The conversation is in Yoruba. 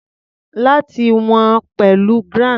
Láti wọ̀n ọ́n pẹ̀lú grams.